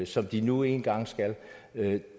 som de nu engang skal